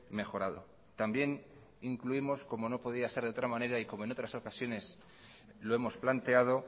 mejorado también incluimos como no podría ser de otra manera y como en otras ocasiones lo hemos planteado